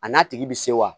A n'a tigi bɛ se wa